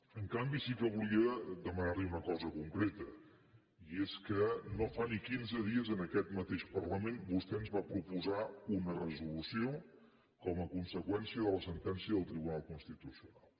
en canvi sí que volia demanar li una cosa concreta i és que no fa ni quinze dies en aquest mateix parlament vostè ens va proposar una resolució com a conseqüència de la sentència del tribunal constitucional